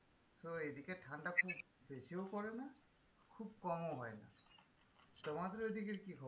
তো এই দিকের ঠান্ডা খুব বেশিও পড়েনা খুব কমও হয় না তোমাদের ওদিকের কি খবর?